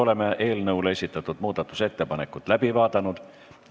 Oleme eelnõu kohta esitatud muudatusettepanekud läbi vaadanud.